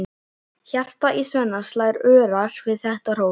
Hjartað í Svenna slær örar við þetta hrós.